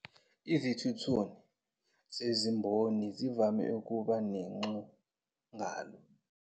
Izithununu zezimboni zivame ukuba nenguxangalo.